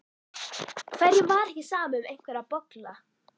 Hverjum var ekki sama um einhverja bolla?